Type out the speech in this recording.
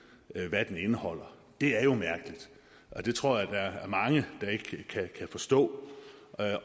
hvad den indeholder det er jo mærkeligt og det tror jeg der er mange der ikke kan forstå